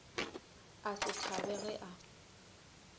a se thabe ge a